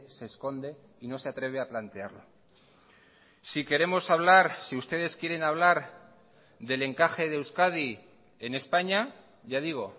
se esconde y no se atreve a plantearla si queremos hablar si ustedes quieren hablar del encaje de euskadi en españa ya digo